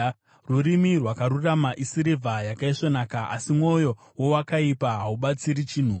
Rurimi rwakarurama isirivha yakaisvonaka, asi mwoyo wowakaipa haubatsiri chinhu.